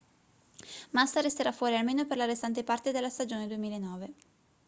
massa resterà fuori almeno per la restante parte della stagione 2009